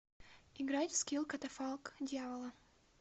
играть в скилл катафалк дьявола